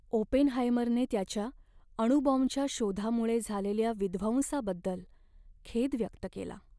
ओपेनहायमरने त्याच्या अणुबॉम्बच्या शोधामुळे झालेल्या विध्वंसाबद्दल खेद व्यक्त केला.